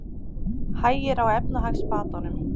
Hægir á efnahagsbatanum